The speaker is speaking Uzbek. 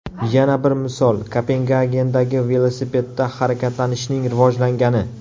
Yana bir misol Kopengagendagi velosipedda harakatlanishning rivojlangani.